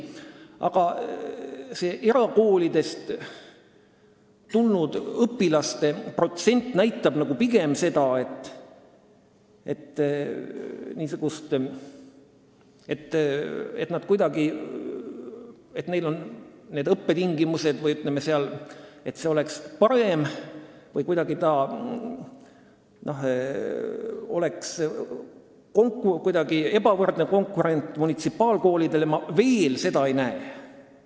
Aga see erakoolidest tulnud õpilaste protsent näitab pigem seda, et ma veel ei näe, nagu õppetingimused oleksid seal paremad või konkurents oleks munitsipaalkoolide suhtes kuidagi ebavõrdne.